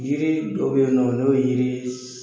Yiri dɔ bɛ ye nɔ n'o ye yiri